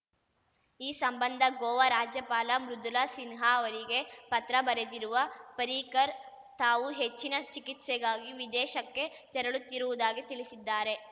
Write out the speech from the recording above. ಈ ಸಂಬಂಧ ಗೋವಾ ರಾಜ್ಯಪಾಲ ಮೃದುಲಾ ಸಿನ್ಹಾ ಅವರಿಗೆ ಪತ್ರ ಬರೆದಿರುವ ಪರೀಕರ್ ತಾವು ಹೆಚ್ಚಿನ ಚಿಕಿತ್ಸೆಗಾಗಿ ವಿದೇಶಕ್ಕೆ ತೆರಳುತ್ತಿರುವುದಾಗಿ ತಿಳಿಸಿದ್ದಾರೆ